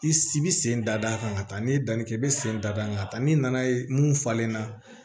I bi sen da a kan ka taa n'i ye danni kɛ i be sen da da kan ka taa ni nana ye mun falenna